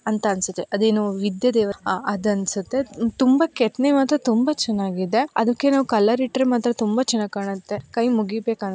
ಅಂತ ಅನ್ನಸುತ್ತೆ ಅದೇನೊ ವಿದ್ಯೆ ದೇವ್ರ ಅದನ್ನಸುತ್ತೆ ತುಂಬಾ ಕೆತ್ತನೆವಾದ ತುಂಬಾ ಚನ್ನಾಗಿದೆ ಅದಕಿಂನ್ನ ಕಲರ್ ಇಟ್ಟರೆ ಮಾತ್ರ ತುಂಬಾ ಚನ್ನಾಗಿ ಕಾಣುತ್ತೆ ಕೈ ಮುಗಿಬೇಕು__